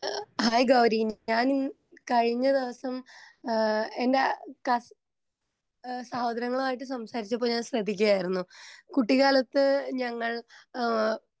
hi Gauri ഞാൻ കഴിഞ്ഞ ദിവസം ഏഹ്ഹ് എൻറെ കാസി ഏഹ്ഹ് സഹോദരങ്ങളുമായി സംസാരിച്ചപ്പോ ഞാൻ ശ്രെദ്ധിക്കുകയായിരുന്നു കുട്ടിക്കാലത്തു ഞങ്ങൾ ഏഹ്ഹ്